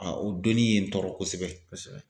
o donni ye n tɔɔrɔ kosɛbɛ. Kosɛbɛ.